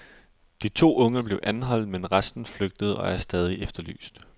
De to unge blev anholdt, men resten flygtede og er stadig efterlyst.